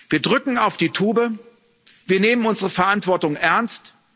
Wir drücken auf die Tube, wir nehmen unsere Verantwortung ernst.